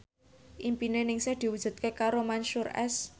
impine Ningsih diwujudke karo Mansyur S